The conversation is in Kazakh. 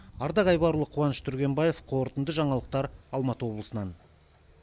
ардақ айбарұлы қуаныш түргенбаев қорытынды жаңалықтар алматы облысынан